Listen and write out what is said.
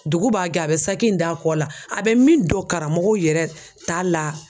Dugu b'a gɛ, a be saki in d'a kɔ la, a be min don karamɔgɔw yɛrɛ ta la